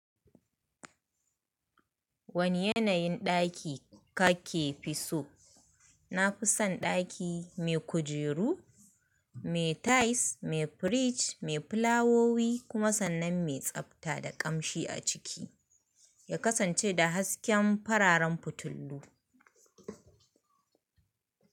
Wane yanayin ɗaki kake fi so? Na fi son ɗaki mai kujeru, mai tais, mai firij, mai fulawowi kuma sannan mai tsabta da ƙamshi a ciki ya kasance da hasken fararen fitilu.